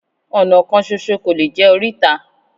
Ọ̀nà kan ṣoṣo kò lè jẹ́ oríta